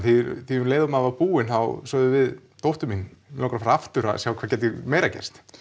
því um leið og maður er búinn þá sagði dóttir mín mig langar að fara aftur til að sjá hvað getur meira gerst